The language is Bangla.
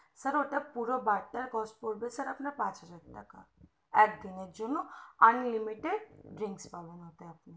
sir ওটা পুরো বারটার তার price পড়বে আপনার পাঁচ হাজার টাকা একদিনের জন্য unlimited drinks পাবেন ওতে